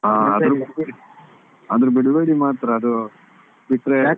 ಹಾ ಅದು ಆದ್ರೆ ಬಿಡ್ಬೇಡಿ ಆದ್ರೆ ಬಿಡ್ಬೇಡಿ ಮಾತ್ರ ಅದು ಬಿಟ್ರೆ.